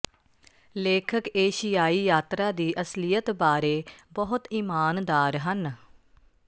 ਲੇਖਕ ਏਸ਼ੀਆਈ ਯਾਤਰਾ ਦੀ ਅਸਲੀਅਤ ਬਾਰੇ ਬਹੁਤ ਈਮਾਨਦਾਰ ਹਨ